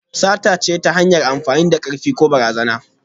Sata ce ta hanyar amfani da karfi ko barazana.